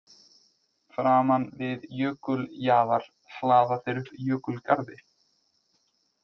Framan við jökuljaðar hlaða þeir upp jökulgarði.